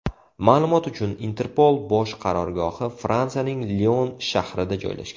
Ma’lumot uchun, Interpol bosh qarorgohi Fransiyaning Lion shahrida joylashgan.